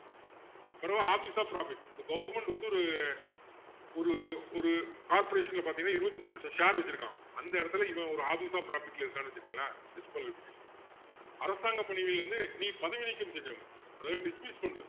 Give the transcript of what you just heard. பிறகு office of profit இப்போ government வந்து ஒரு ஒரு ஒரு corporation ல பாத்திங்கன்னா இருபத்து அஞ்சு percent share வச்சிருக்கான் அந்த இடத்துல இவன் ஒரு office of profit ல இருக்கான்னு வச்சிக்கோங்களேன் disqualify பண்ணிடலாம் அரசாங்க பதவியில் இருந்து பதவி நீக்கம் செஞ்சிட முடியும் அதாவது dismiss பண்றது